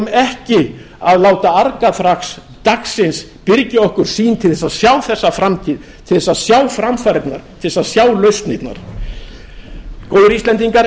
ekki að láta argaþras dagsins byrgja okkur sýn til þess að sjá þessa framtíð til þess að sjá framfarirnar til þess að sjá lausnirnar góðir íslendingar